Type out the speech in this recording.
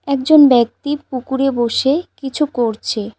একজন ব্যক্তি পুকুরে বসে কিছু করছে।